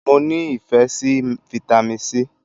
I like Vitamin C